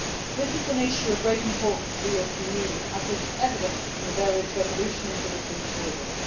This is an issue of great importance for the European Union, as is evident from the various resolutions that have been tabled.